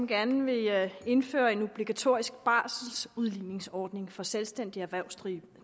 gerne vil indføre en obligatorisk barselsudligningsordning for selvstændigt erhvervsdrivende